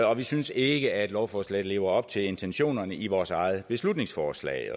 og vi synes ikke at lovforslaget lever op til intentionerne i vores eget beslutningsforslag